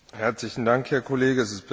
Herzlichen Dank, Herr Kollege.